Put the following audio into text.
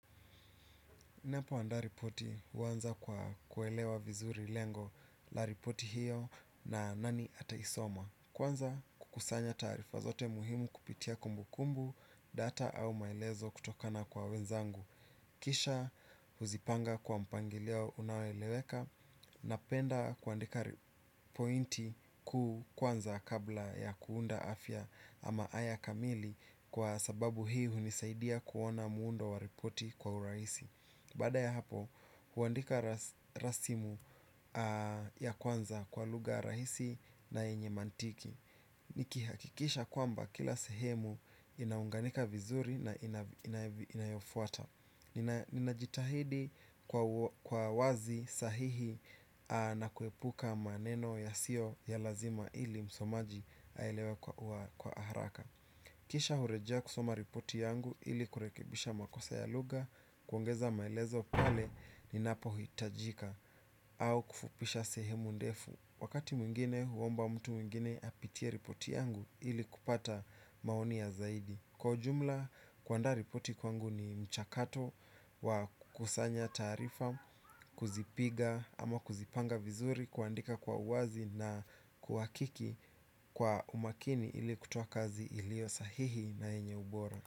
Napo anda ripoti uwanza kwa kuelewa vizuri lengo la ripoti hiyo na nani ata isoma. Kwanza kukusanya tarifa zote muhimu kupitia kumbu kumbu data au maelezo kutokana kwa wenzangu. Kisha huzipanga kwa mpangilio unaoweleweka napenda kuandika pointi kuu kwanza kabla ya kuunda afya ama haya kamili kwa sababu hii unisaidia kuona muundo wa ripoti kwa uraisi. Bada ya hapo, huandika rasimu ya kwanza kwa luga rahisi na enye mantiki. Nikihakikisha kwamba kila sehemu inaunganika vizuri na inayofuata. Ninajitahidi kwa wazi sahihi na kuepuka maneno ya sio ya lazima ili msomaji aielewe kwa aharaka. Kisha hurejea kusoma ripoti yangu ili kurekebisha makosa ya luga kuongeza maelezo pale ni napohitajika au kufupisha sehemu ndefu. Wakati mwingine huomba mtu mwingine apitie ripoti yangu ili kupata maoni ya zaidi. Kwa jumla, kuanda ripoti kwangu ni mchakato wa kusanya tarifa, kuzipiga ama kuzipanga vizuri, kuandika kwa uwazi na kuwakiki kwa umakini ili kutoakazi ilio sahihi na enye ubora.